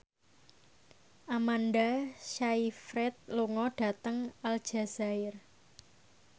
Amanda Sayfried lunga dhateng Aljazair